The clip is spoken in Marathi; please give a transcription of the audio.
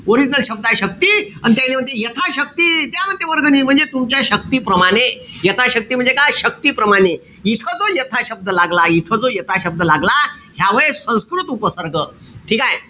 Original शब्द हाये शक्ती अन त्यायले म्हणते यथा शक्ती द्या म्हणते वर्गणी. म्हणजे तुमच्या शक्ती प्रमाणे. यथा शक्ती म्हणजे काय? शक्तीप्रमाणे. इथं तो यथा शब्द लागला. इथं जो यथा शब्द लागला ह्या वेळेस संस्कृत उपसर्ग. ठीकेय?